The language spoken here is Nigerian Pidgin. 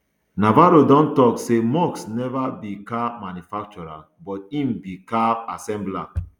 navarro don tok say musk neva be car manufacturer but im be car assembler